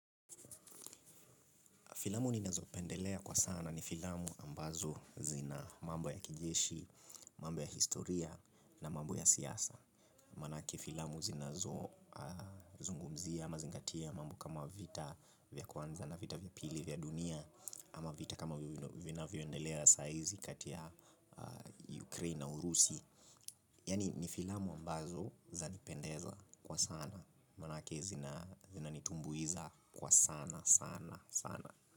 Filamu ninazopendelea kwa sana ni filamu ambazo zina mambo ya kijeshi, mambo ya historia na mambo ya siasa. Maanake filamu zinazozungumzia ama zingatia mambo kama vita vya kwanza na vita vya pili vya dunia ama vita kama vinavyoendelea saa hizi kati ya ukraine na urusi. Yaani ni filamu ambazo zanipendeza kwa sana maanake zinanitumbuiza kwa sana sana sana.